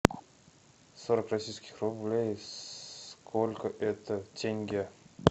сорок российских рублей сколько это тенге